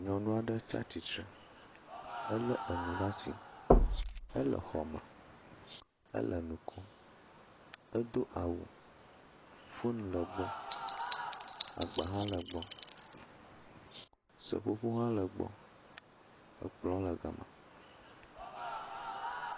Nyɔnu aɖe tsa tsitre. Elé enu ɖa si. Ele xɔme. Ele nu kom. Edo awu. Fon le egbɔ. Agba hã le egbɔ. Seƒoƒo hã le gbɔ. Ekplɔ̃ le gama